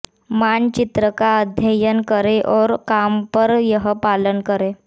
मानचित्र का अध्ययन करें और काम पर यह पालन करें